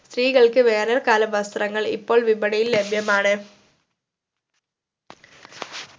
സിത്രീകൾക് വേനൽകാല വസ്ത്രങ്ങൾ ഇപ്പോൾ വിപണിയിൽ ലഭ്യമാണ്